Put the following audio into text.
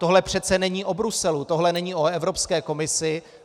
Tohle přece není o Bruselu, tohle není o Evropské komisi.